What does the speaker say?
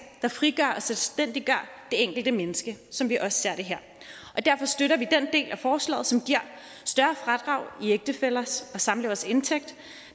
der frigør og selvstændiggør det enkelte menneske som vi også ser det her og derfor støtter vi den del af forslaget som giver større fradrag i ægtefællers og samleveres indtægt